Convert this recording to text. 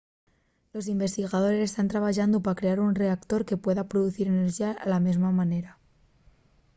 los investigadores tán trabayando pa crear un reactor que pueda producir enerxía de la mesma manera